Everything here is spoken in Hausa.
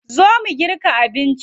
Zo mu girka abinci.